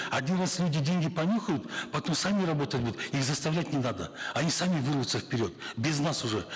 один раз люди деньги понюхают потом сами работать будут их заставлять не надо они сами вырвутся вперед без нас уже